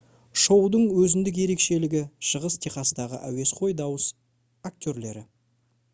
шоудың өзіндік ерекшелігі шығыс техастағы әуесқой дауыс актерлері